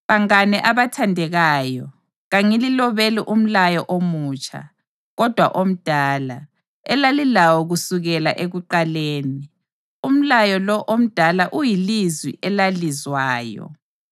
Bangane abathandekayo, kangililobeli umlayo omutsha, kodwa omdala, elalilawo kusukela ekuqaleni. Umlayo lo omdala uyilizwi elalizwayo.